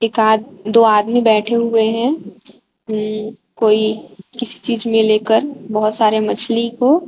दो आदमी बैठे हुए हैं कोई किसी चीज में लेकर बहुत सारे मछली को।